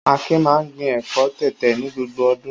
Akin máa ń gbin ẹ̀fọ́ tẹ̀tẹ̀ ní gbogbo ọdún.